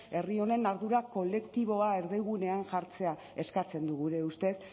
herri honen ardura kolektiboa erdigunean jartzea eskatzen du gure ustez